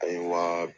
A ye wa